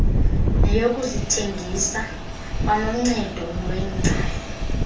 neyokuzithengisa kwanoncedo lweengcali